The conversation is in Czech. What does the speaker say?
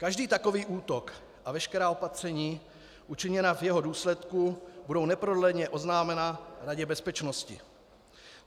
Každý takový útok a veškerá opatření učiněná v jeho důsledku budou neprodleně oznámena Radě bezpečnosti.